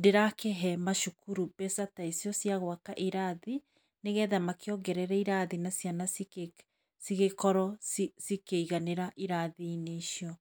ndĩrakĩhe macukuru mbeca ta icio cia gwaka kĩrathi nĩgetha makĩongerere irathi nĩgetha ciana cigĩkorwo cikĩiganĩra irathi -inĩ icio.